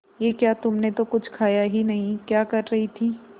ये क्या तुमने तो कुछ खाया ही नहीं क्या कर रही थी